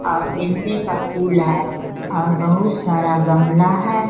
और गेंदे का फूल है और बहुत सारा गमला है।